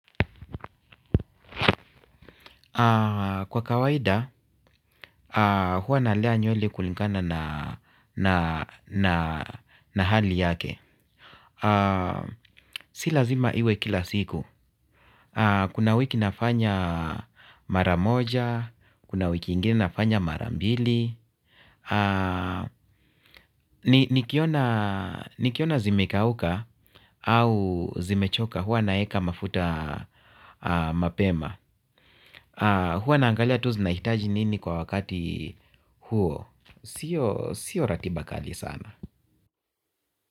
Kwa kawaida, huwa nalea nywele kulingana na na hali yake. Si lazima iwe kila siku. Kuna wiki nafanya mara moja, kuna wiki ingine nafanya mara mbili. Nikiona zimekauka au zimechoka huwa naeka mafuta mapema. Huwa naangalia tu zinahitaji nini kwa wakati huo. Sio ratiba kali sana.